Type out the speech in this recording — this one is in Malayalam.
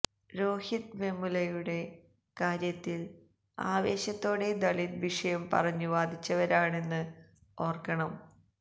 രോഹിത് വെമുലയുടെ കാര്യത്തില് ആവേശത്തോടെ ദളിത് വിഷയം പറഞ്ഞു വാദിച്ചവരാണെന്ന് ഓര്ക്കണം